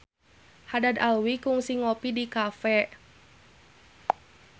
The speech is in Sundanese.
Haddad Alwi kungsi ngopi di cafe